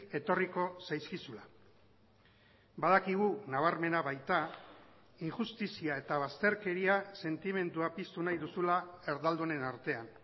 etorriko zaizkizula badakigu nabarmena baita injustizia eta bazterkeria sentimendua piztu nahi duzula erdaldunen artean